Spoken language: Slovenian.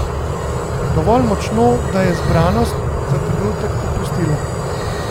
Dovolj močno, da je zbranost za trenutek popustila.